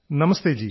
നമസ്തേ ജീ